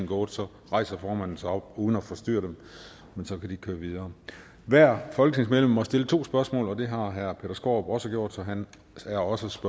gået så rejser formanden sig op uden at forstyrre dem men så kan de køre videre hvert folketingsmedlem må stille to spørgsmål og det har herre peter skaarup også gjort og han er også